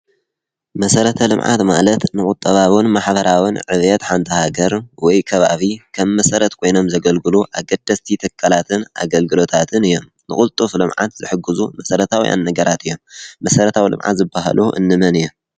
መሰራታዊ ልምዓት ማለት ንቁጠባዊን ማሕበራዊን ዕብየት ሓንቲ ሃገር ወይ ከባቢ ከም መሰረት ኮይኖም ዘገልግሉ ኣገደስቲ ትካላትን ኣገልግሎታትን እዮም። ንቅልጡፍ ልማዓት ዝሕግዙ መሰረታዊ ነገራት እዮም። መሰረታዊ ልምዓት ዝበህሉ እንመን እዮም?